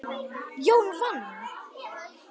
Jón vann.